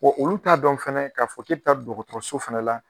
olu t'a dɔn fɛnɛ k'a fɔ ke bɛ taa dɔgɔtɔrɔso fɛnɛ la.